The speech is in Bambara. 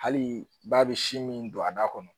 Hali ba bɛ si min don a da kɔnɔ